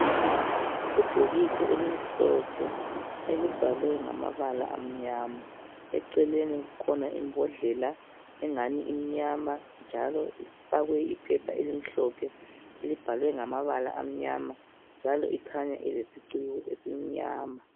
Ibhokisi elimhlophe elibhalwe ngamabala amnyama. Eceleni kukhona imbodlela ekhanya imnyama njalo ifakwe iphepha elimhlophe elibhalwe ngamabala amnyama. Njalo okhanya ilesiciko esimnyama.